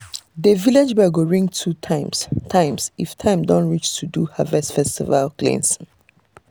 the village bell go ring two times times if time don reach to do harvest festival cleansing.